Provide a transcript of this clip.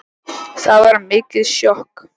Það var mikið sjokk.